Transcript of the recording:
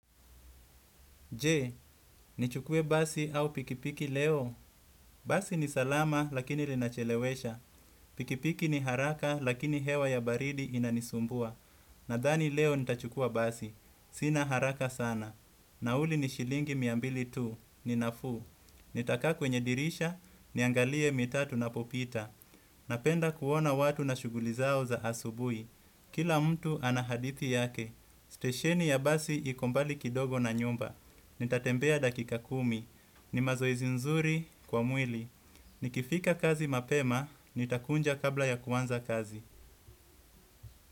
Je, nichukue basi au pikipiki leo. Basi ni salama lakini linachelewesha. Pikipiki ni haraka lakini hewa ya baridi inanisumbua. Nadhani leo nitachukua basi. Sina haraka sana. Nauli ni shilingi miambili tuu. Ninafu. Nitaka kwenye dirisha. Niangalie mitaa tunapopita. Napenda kuona watu na shuguli zao za asubuhi. Kila mtu anahadithi yake. Stesheni ya basi ikombali kidogo na nyumba. Nitatembea dakika kumi, ni mazoezi nzuri kwa mwili. Ni kifika kazi mapema, ni takunja kabla ya kuanza kazi.